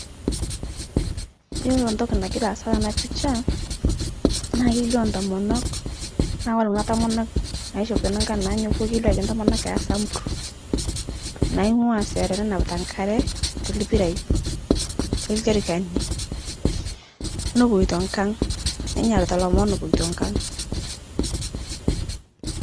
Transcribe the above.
Iyolo ntoki nangira aasa tana pisha, naa kelio ntomonok naa kore kuna tomonok naishopito nankan nanyukuo kelio Ajo ntomonok esamburr, naing'ua sere nenapita nkare te lpirai te ljerikani, nopoito nkang', nenyarita lomon epoto nkang'